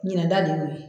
Ɲinan ta de y'o ye